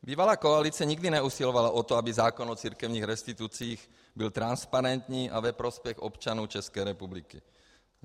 Bývalá koalice nikdy neusilovala o to, aby zákon o církevních restitucích byl transparentní a ve prospěch občanů České republiky.